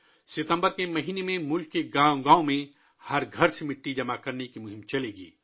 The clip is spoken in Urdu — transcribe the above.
ستمبر کے مہینے میں ملک کے ہر گاؤں میں ہر گھر سے مٹی جمع کرنے کی مہم چلائی جائے گی